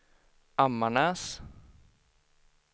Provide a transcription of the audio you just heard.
Ammarnäs